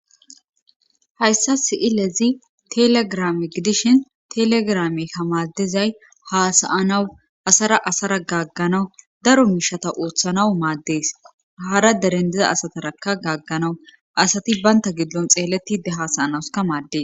Hayssa si'ilezi telegrame gidishin telegrame kamaaddizay haasayanawu asara asara gagganawu daro miishata ooththanawu maaddees haara derendiza asatarakka gaagganawu asati baynta giddon xeelletide haasayanawska maaddes